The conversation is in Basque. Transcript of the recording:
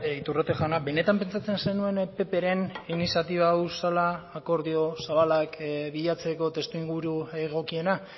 iturrate jauna benetan pentsatzen zenuen ppren iniziatiba hau zela akordio zabalak bilatzeko testuinguru egokiena